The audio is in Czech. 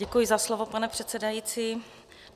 Děkuji za slovo, pane předsedající.